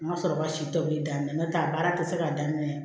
N ka sɔrɔ ka si tobili daminɛ n'o tɛ a baara tɛ se k'a daminɛ